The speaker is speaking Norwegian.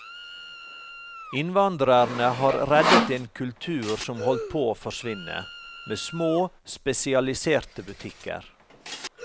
Innvandrerne har reddet en kultur som holdt på å forsvinne, med små, spesialiserte butikker.